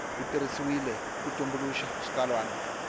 wu tirhisiwile ku tumbuluxa xitsalwana